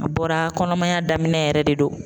A bɔra kɔnɔmaya daminɛ yɛrɛ de don.